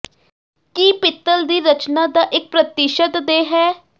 ਕੀ ਪਿੱਤਲ ਦੀ ਰਚਨਾ ਦਾ ਇੱਕ ਪ੍ਰਤੀਸ਼ਤ ਦੇ ਹੈ